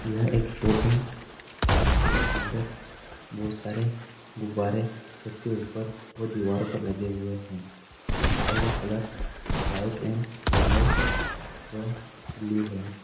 यह एक शॉप है। जिसके अंदर बोहोत सारे गुब्बारे छत्त के ऊपर दीवारों पे लगे हुए हैं। गुब्बारो का कलर व्हाइट एंड येलो व ब्लू है।